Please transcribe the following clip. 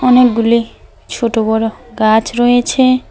অনেকগুলি ছোটো বড়ো় গাছ রয়েছে।